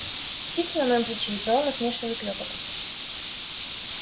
птица на моем плече издала насмешливый клёкот